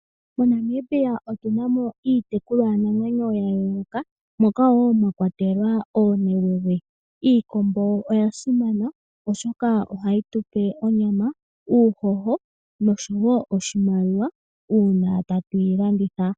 Monamibia otuna mo iitekulwanamwenyo ya yooloka moka mwa kwatelwa oonewewe. Iikombo oya simana oshoka ohayi tupe onyama, uuhoho nosho woo oshimaliwa una Tatu yi landitha